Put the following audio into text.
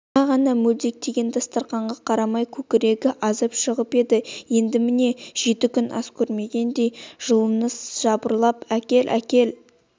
жаңа ғана мелдектеген дастарқанға қарамай кекірігі азып шығып еді енді міне жеті күн ас көрмегендей жыланы жыбырлап әкел-әкел